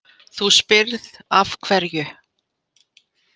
Þú spyrð af hverju.